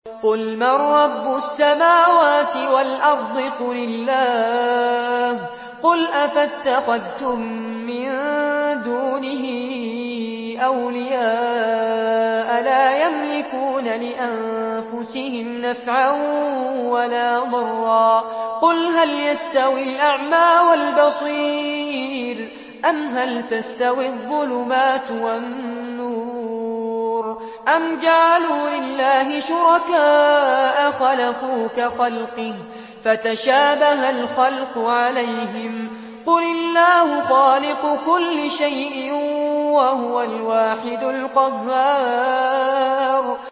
قُلْ مَن رَّبُّ السَّمَاوَاتِ وَالْأَرْضِ قُلِ اللَّهُ ۚ قُلْ أَفَاتَّخَذْتُم مِّن دُونِهِ أَوْلِيَاءَ لَا يَمْلِكُونَ لِأَنفُسِهِمْ نَفْعًا وَلَا ضَرًّا ۚ قُلْ هَلْ يَسْتَوِي الْأَعْمَىٰ وَالْبَصِيرُ أَمْ هَلْ تَسْتَوِي الظُّلُمَاتُ وَالنُّورُ ۗ أَمْ جَعَلُوا لِلَّهِ شُرَكَاءَ خَلَقُوا كَخَلْقِهِ فَتَشَابَهَ الْخَلْقُ عَلَيْهِمْ ۚ قُلِ اللَّهُ خَالِقُ كُلِّ شَيْءٍ وَهُوَ الْوَاحِدُ الْقَهَّارُ